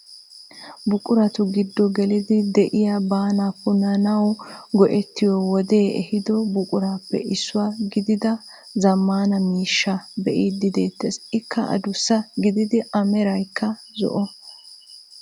Buquratu giddo geelidi de'iyaa baanaa puunnanawu go"ettiyoo wodee eehido buquraappe issuwaa giidida zammaana miishshaa bee'idi de'ettees. ikka adussa gidiidi a meraykka zo"o.